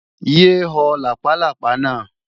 Yé ho làpálápá náà!